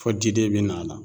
Fɔ diden bi na a la